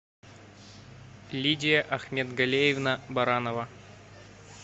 лидия ахметгалеевна баранова